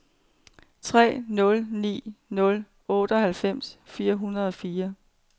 tre nul ni nul otteoghalvfems fire hundrede og fire